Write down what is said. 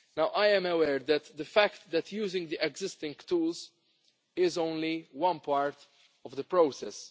I am aware of the fact that using the existing tools is only one part of the process.